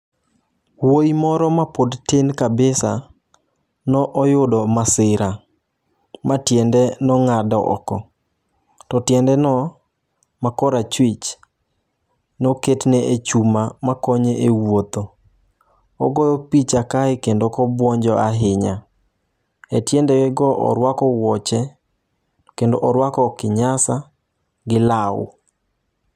Wuoyi moro mapod tin kabisa noyudo masira matiende nong'ad oko . To tiende no makorachwich noketne e chuma makonye e wuotho. Ogoyo picha kae kendo kobwonjo ahinya ,e tiende ge go orwako wuoche kendo orwako kinyasa gi law.